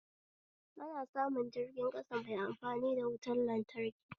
Ana samu jirgin ƙasa mai amfani da wutan lantraki